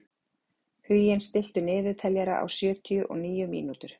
Huginn, stilltu niðurteljara á sjötíu og níu mínútur.